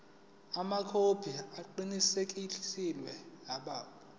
amakhophi aqinisekisiwe abo